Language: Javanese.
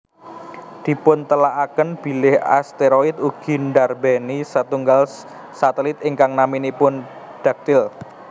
Dipuntelaaken bilih asteroid ugi ndarbéni setunggal satelit ingkang naminipun Dactyl